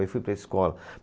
Aí fui para a escola.